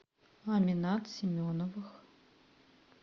аминат семеновых